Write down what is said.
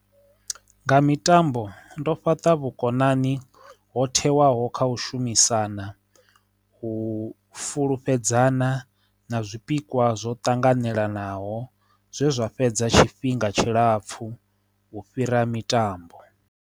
Nga mitambo ndo fhaṱa vhukonani ho thewaho kha u shumisana u fulufhedzea fana na zwipikwa zwo tanganelanaho zwe zwa fhedza tshifhinga tshilapfu u fhira mitambo.